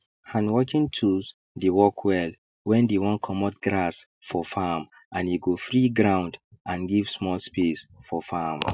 hand working tools dey work well when dey wan comot grass for farm and e go free ground and give small space for farm